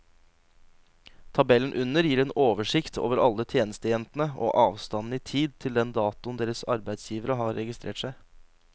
Tabellen under gir en oversikt over alle tjenestejentene og avstanden i tid til den datoen deres arbeidsgivere har registrert seg.